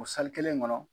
O kelen kɔnɔ